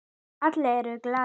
Allir eru glaðir.